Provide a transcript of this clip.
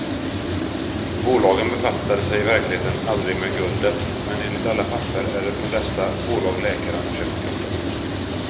Bolagen befattade sig i verkligheten aldrig med guldet, men enligt alla papper är det från dessa bolag läkaren har köpt guldet.